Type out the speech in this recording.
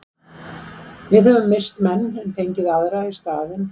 Við höfum misst menn en fengið aðra í staðinn.